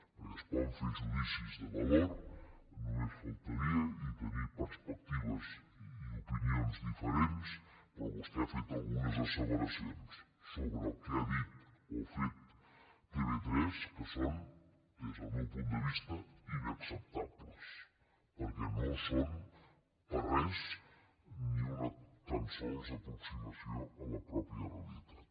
perquè es poden fer judicis de valor només faltaria i tenir perspectives i opinions diferents però vostè ha fet algunes asseveracions sobre el que ha dit o fet tv3 que són des del meu punt de vista inacceptables perquè no són per a res ni una tan sols aproximació a la mateixa realitat